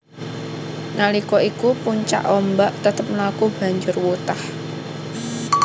Nalika iku puncak ombak tetep mlaku banjur wutah